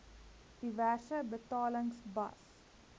diverse betalings bas